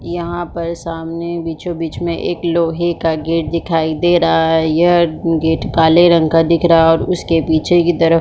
यहाँ पर सामने बीचों बिच में एक लोहै का गेट दिखाई दे रहा है यह गेट काले रंग का दिख रहा है और उसके पीछे की तरफ़.--